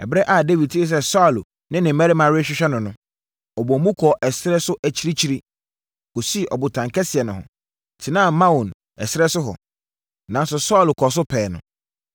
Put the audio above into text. Ɛberɛ a Dawid tee sɛ Saulo ne ne mmarima rehwehwɛ no no, ɔdɔɔ mu kɔɔ ɛserɛ so akyirikyiri, kɔsii ɔbotan kɛseɛ no ho, tenaa Maon ɛserɛ so hɔ. Nanso Saulo kɔɔ so pɛɛ no.